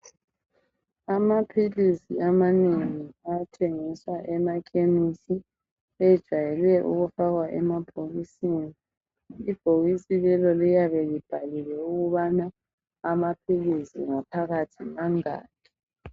Amaphilisi amanengi athengiswa emakhemisi ajayelwe ukufakwa emabhokisini. Ibhokisi lelo liyabe libhaliwe ukubana amaphilisi ngaphakathi mangaki.